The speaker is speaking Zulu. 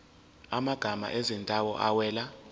amagama ezindawo awela